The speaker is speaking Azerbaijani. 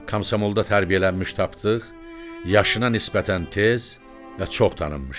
Komsomolda tərbiyələnmiş Tapdıq, yaşına nisbətən tez və çox tanınmışdı.